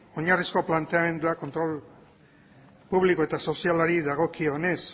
oinarrizko planteamenduarekin kontrol publiko eta sozialari dagokionez